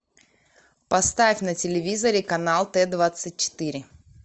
поставь на телевизоре канал т двадцать четыре